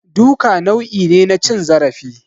Duka nau'i ne na cin zarafi